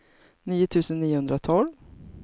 nio tusen niohundratolv